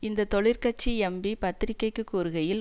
இந்த தொழிற்கட்சி எம்பி பத்திரிக்கைக்கு கூறுகையில்